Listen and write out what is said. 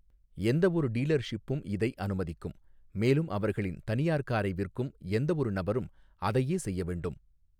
எந்தவொரு டீலர்ஷிப்பும் இதை அனுமதிக்கும், மேலும் அவர்களின் தனியார் காரை விற்கும் எந்தவொரு நபரும் அதையே செய்ய வேண்டும்.